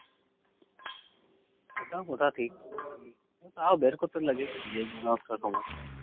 ওটাও কথা ঠিক